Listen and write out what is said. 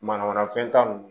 Mana mana fɛn ta